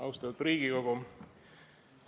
Austatud Riigikogu!